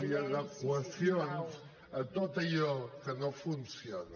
i adequacions a tot allò que no funciona